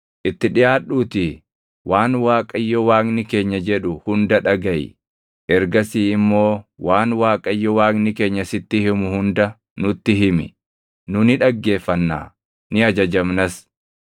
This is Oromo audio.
Itti dhiʼaadhuutii waan Waaqayyo Waaqni keenya jedhu hunda dhagaʼi. Ergasii immoo waan Waaqayyo Waaqni keenya sitti himu hunda nutti himi. Nu ni dhaggeeffannaa; ni ajajamnas.”